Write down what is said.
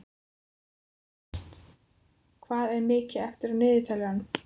Evert, hvað er mikið eftir af niðurteljaranum?